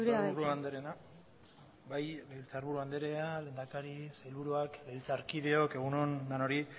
legebiltzarburu andrea lehendakari sailburuak legebiltzarkideok egun on denoi